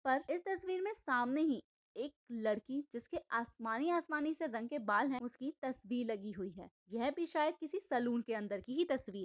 पर इस तस्वीर मे सामने ही एक लड़की जिसके आसमानी आसमानी से रंग के बाल है उसकी तस्वीर लगी हुई है यह भी शायद किसी सलून के अंदर की हि तस्वी--